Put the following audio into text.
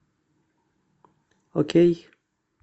окей